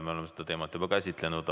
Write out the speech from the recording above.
Me oleme seda teemat juba käsitlenud.